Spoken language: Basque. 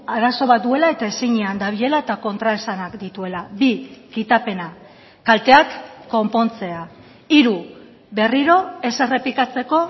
arazo bat duela eta ezinean dabilela eta kontraesanak dituela bi kitapena kalteak konpontzea hiru berriro ez errepikatzeko